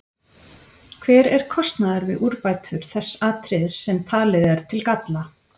Hver er kostnaður við úrbætur þess atriðis sem talið er til galla?